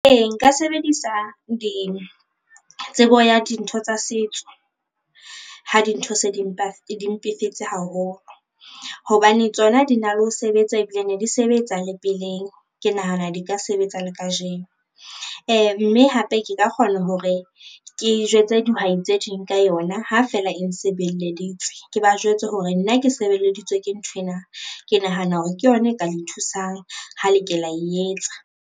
Ee, nka sebedisa tsebo ya dintho tsa setso ha dintho se di mpefetse haholo, hobane tsona di na le ho sebetsa ebile ne di sebetsa le peleng ke nahana di ka sebetsa le kajeno. Mme hape ke ka kgona hore ke jwetse dihwai tse ding ka yona ha feela e nsebeleditse, ke ba jwetse hore nna ke sebeleditswe ke nthwena, ke nahana hore ke yona e ka le thusang ha le ke e etsa.